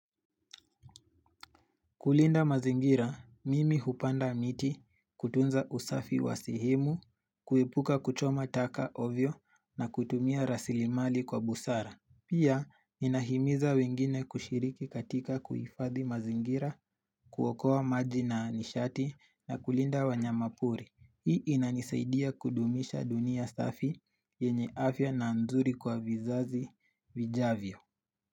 Kulinda mazingira, mimi hupanda miti kutunza usafi wa sehemu, kuepuka kuchoma taka ovyo na kutumia rasilimali kwa busara. Pia, inahimiza wengine kushiriki katika kuhifadhi mazingira kuokoa maji na nishati na kulinda wanyama pori. Hii inanisaidia kudumisha dunia safi yenye afya na nzuri kwa vizazi vijavyo.